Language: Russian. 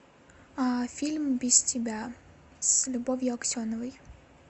фильм без тебя с любовью аксеновой